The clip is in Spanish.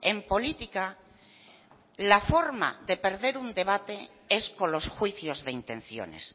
en política la forma de perder un debate es con los juicios de intenciones